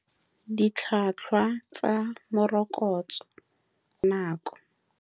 Ditlhwatlhwa tsa morokotso, nako.